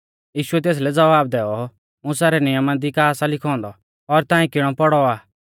यीशुऐ तेसलै ज़वाब दैऔ मुसा रै नियमा दी का सा लिखौ औन्दौ और ताऐं किणौ पौड़ौ आ